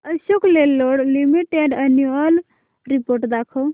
Ashok Leyland limited annual report दाखव